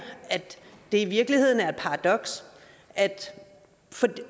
at det i virkeligheden er et paradoks